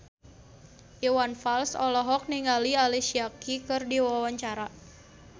Iwan Fals olohok ningali Alicia Keys keur diwawancara